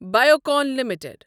Biocon limited